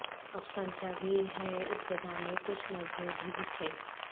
افسانچہ بھی ہیں ابتدا میں کچھ نظمیں بھی لکھیں